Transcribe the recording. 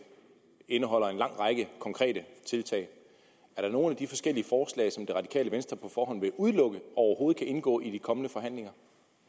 indeholder en lang række konkrete tiltag er der nogen af de forskellige forslag som det radikale venstre på forhånd vil udelukke overhovedet kan indgå i de kommende forhandlinger